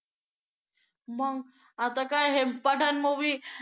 मग आता काय हे पठाण movie